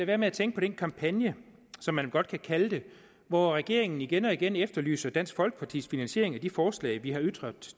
være med at tænke på den kampagne som man godt kan kalde det hvor regeringen igen og igen efterlyser dansk folkepartis finansiering af de forslag vi har ytret